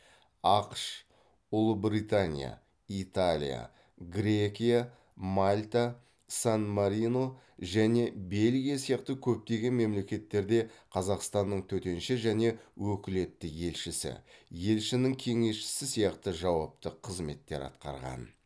ақш ұлыбритания италия грекия мальта сан марино және бельгия сияқты көптеген мемлекеттерде қазақстанның төтенше және өкілетті елшісі елшінің кеңесшісі сияқты жауапты қызметтер атқарған